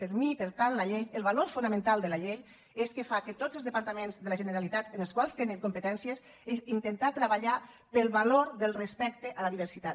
per a mi per tant la llei el valor fonamental de la llei és que fa que tots els departaments de la generalitat en els quals tenen competències és intentar treballar pel valor respecte a la diversitat